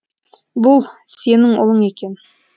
бұл сенің ұлың екен